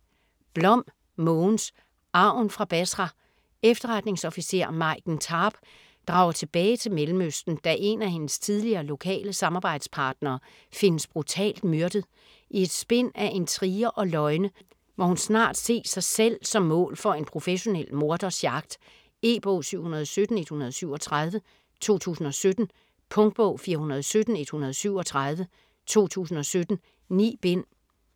Blom, Mogens: Arven fra Basra Efterretningsofficer, Maiken Tarp, drager tilbage til Mellemøsten da en af hendes tidligere lokale samarbejdspartnere findes brutalt myrdet. I et spind af intriger og løgne må hun snart se sig selv som mål for en professionel morders jagt. E-bog 717137 2017. Punktbog 417137 2017. 9 bind.